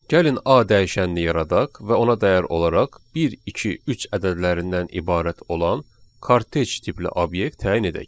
Gəlin A dəyişənini yaradaq və ona dəyər olaraq 1, 2, 3 ədədlərindən ibarət olan kortej tipli obyekt təyin edək.